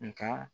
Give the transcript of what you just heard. Nga